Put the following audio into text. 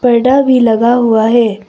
परदा भी लगा हुआ है।